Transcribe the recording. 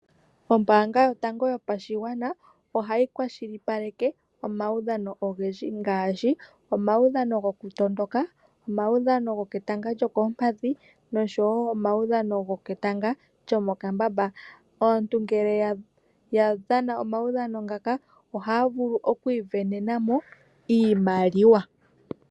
Oombanga yatango yopashigwana ohayi kwashilipaleka omaudhano ogendji ngaashi omaudhano goku tondoka, omaudhano goketanga lyokoompadhi noshowo omaudhano go ketanga lyomokambamba . Aantu ngele yadhana omaudhano ngaka oha vulu oku isindanena mo iimaliwa.